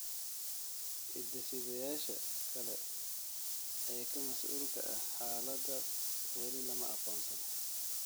Hidde-sideyaasha kale ee ka masuulka ah xaaladda weli lama aqoonsan.